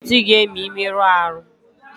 Aga m eti gị ihe ma ị merụọ ahụ